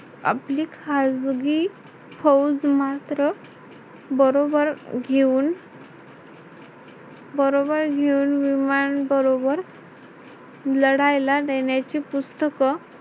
आपली खाजगी फौज मात्र बरोबर घेऊन बरोबर घेऊन विमान बरोबर लढायला नेण्याचे पुस्तक